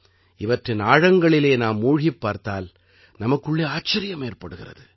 இவற்றின் ஆழங்களிலே நாம் மூழ்கிப் பார்த்தால் நமக்குள்ளே ஆச்சரியம் ஏற்படுகிறது